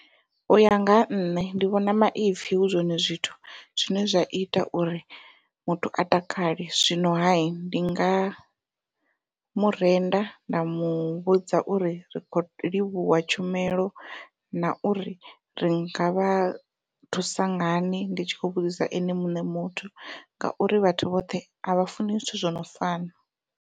Uya nga ha nṋe ndi vhona maipfhi hu zwone zwithu zwine zwa ita uri muthu a takale zwino ha ndi nga murenda nda muvhudza uri ri kho livhuwa tshumelo na uri ri ngavha thusa ngani ndi tshi kho vhudzisa ene muṋe muthu ngauri vhathu vhoṱhe a vha funi zwithu zwo no fana.